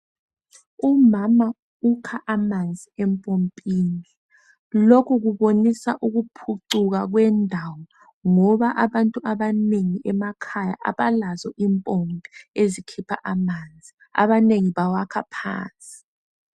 Umama ukha amanzi empompini lokhu kubonisa ukuphucuka kwendawo ngoba abantu abanengi emakhaya abalazo impompi ezikhipha amanzi abanengi bawakha phansi